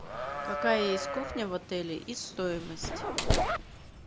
какая есть кухня в отеле и стоимость